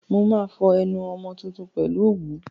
Mo máa fọ ẹnu ọmọ tuntun pèlú òwú.